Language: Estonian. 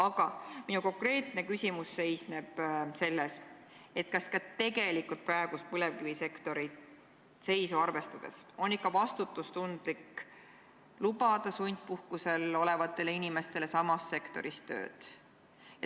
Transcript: Aga minu konkreetne küsimus seisneb selles, kas ka tegelikult praegust põlevkivisektori seisu arvestades on ikka vastutustundlik lubada sundpuhkusel olevatele inimestele samas sektoris tööd.